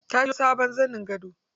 Ta siyo sabon zanin gado.